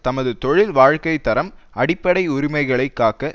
தமது தொழில் வாழ்க்கை தரம் அடிப்படை உரிமைகளை காக்க